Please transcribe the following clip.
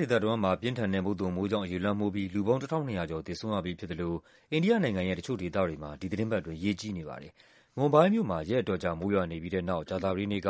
ဒေသတဝန်းမှာ ပြင်းထန်တဲ့ မုတ်သုန်မိုးကြောင့် ရေလွှမ်းမိုးပြီး လူပေါင်း ၁,၂၀၀ ကျော် သေဆုံးရပြီးဖြစ်သလို အိန္ဒိယ နိုင်ငံရဲ့ တချို့ဒေသတွေမှာ ဒီသီတင်းပတ်အတွင်း ရေကြီးနေပါတယ်။ မွမ်ဘိုင်းမြို့မှာ ရက်အတော်ကြာ မိုးရွာနေပြီးတဲ့နောက် ကြာသပတေးနေ့က